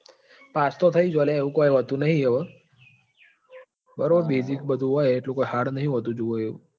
Pass તો થઇ જો લ્યા એવું કઈ હોતું નહિ હવે. બરોબર basic બધું હોય તળું કઈ hard નહિ હોતું જોવે એવું.